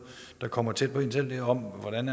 der kommer tæt på en selv er om hvordan